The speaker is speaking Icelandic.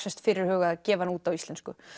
fyrirhugað að gefa hana út á íslensku